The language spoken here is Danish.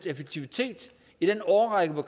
effektivitet i den årrække hvor